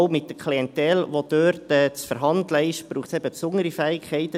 Aber mit der Klientel, die dort zu verhandeln ist, braucht es einfach auch besondere Fähigkeiten.